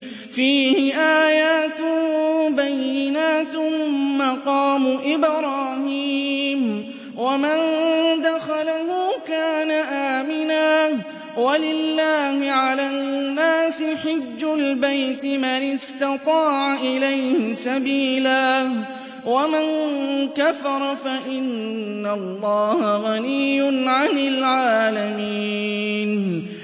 فِيهِ آيَاتٌ بَيِّنَاتٌ مَّقَامُ إِبْرَاهِيمَ ۖ وَمَن دَخَلَهُ كَانَ آمِنًا ۗ وَلِلَّهِ عَلَى النَّاسِ حِجُّ الْبَيْتِ مَنِ اسْتَطَاعَ إِلَيْهِ سَبِيلًا ۚ وَمَن كَفَرَ فَإِنَّ اللَّهَ غَنِيٌّ عَنِ الْعَالَمِينَ